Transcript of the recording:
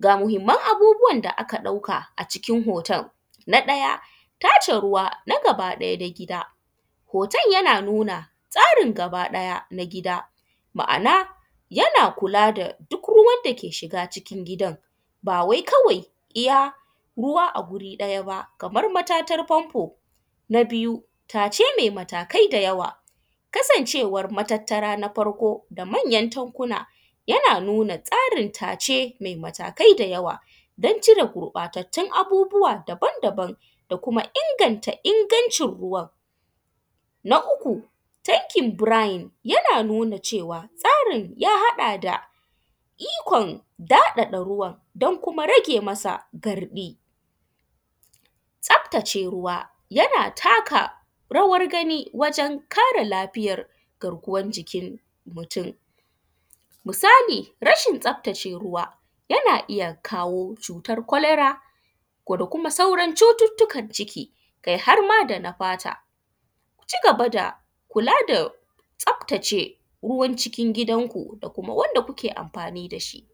Ga muhinman abubuwa da aka ɗauka a cikin hoton. Na ɗaya tace ruwa na gabaɗaya gida, hoton yana nuna tsarin gabaɗaya na gida, ma’ana yana kula da duk ruwan dake shiga gidan ba wai kawai iya ruwa a wuri ɗaya ba har matatan fanfo. Na biyu tace me matakai da yawa, kasancewan matattara na farko manyan tankuna yana nuna tsarin tace matakai da yawa don cire gurɓatattun abubuwa daban-daban da kuma inganta ruwan. Na uku tankin birain yana nuna cewa tsarin ya haɗa da ikon daɗaɗa ruwan da kuma rage masa garɗi. Tsaftace ruwa yana takarawan gani wajen kare lafiyan garkuwan jikin mutum, misali rashin tsaftace ruwa yana iya kawo cutan kwalara da kuma sauran cututtukan ciki kai har ma da na fata. Ku ci gaba da kula da tsaftace ruwan cikin gidanku da kuma wanda kuke anfani da shi.